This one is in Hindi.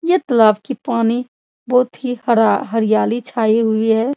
यह तालाब की पानी बहुत ही हरा हरियाली छाई हुई है।